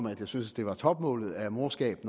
at jeg synes det var topmålet af morskab